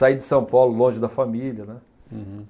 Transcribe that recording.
Saí de São Paulo longe da família, né. Uhum